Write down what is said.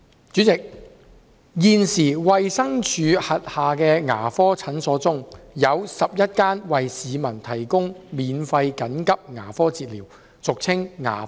主席，現時，衞生署轄下的牙科診所中，有11間為市民提供免費緊急牙科治療。